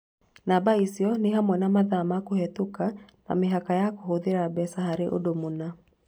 Namba icio nĩ hamwe na mathaa ma kũhĩtũka, na mĩhaka ya kũhũthĩra mbeca harĩ ũndũ mũna.